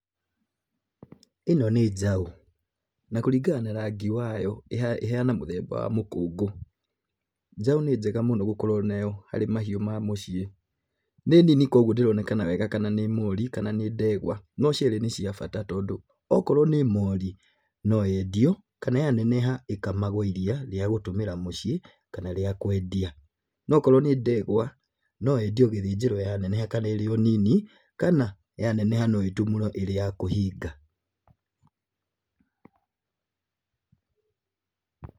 Ĩno nĩ njaũ , na kũringana na rangi wayo ĩhana mũthemba wa mũkũngũ , njaũ nĩ njega mũno gũkorwo nayo harĩ mahiũ ma mũciĩ, nĩ nini kũgwo ndĩronekana wega kana nĩ mori kana nĩ ndegwa no cierĩ nĩ cia bata, tondũ okorwo nĩ mori no yendio, kana ya neneha ĩkamagwo iria rĩa gũtũmĩra mũciĩ kana rĩa kwendia, na okorwo nĩ ndegwa no yendio gĩthĩnjĩro ya neneha kana ĩrĩ o nini , kana yaneneha no ĩtũmĩrwo ĩrĩ ya kũhinga.